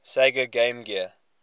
sega game gear